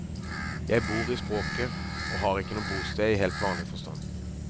Jeg bor i språket og har ikke noe bosted i helt vanlig forstand.